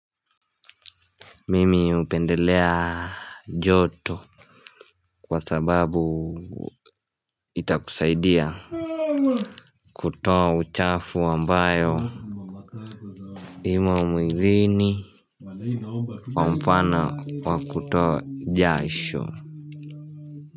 Mimi upendelea joto Kwa sababu Itakusaidia kutoa uchafu ambayo Imo mwiini kwa mfano wa kutoa jasho.